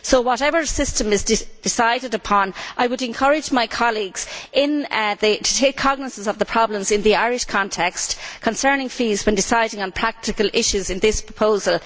So, whatever system is decided upon, I would encourage my colleagues to take cognisance of the problems in the Irish context concerning fees when deciding on practical issues in this proposal.